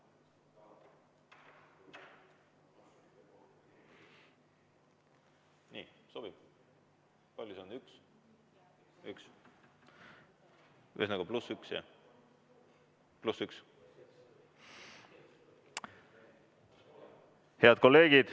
Head kolleegid!